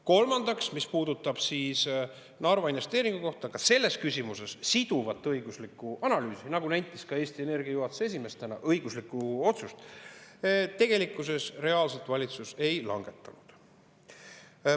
Kolmandaks, mis puudutab Narva investeeringut, siis ka selles küsimuses otsust siduva õigusliku analüüsi kohta, nagu nentis täna ka Eesti Energia juhatuse esimees, tegelikkuses reaalselt valitsus ei langetanud.